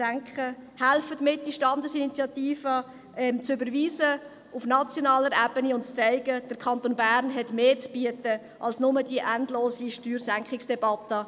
Helfen Sie mit, diese Standesinitiative auf die nationale Ebene zu überweisen, um zu zeigen, dass der Kanton Bern mehr zu bieten hat als nur eine endlose Steuersenkungsdebatte.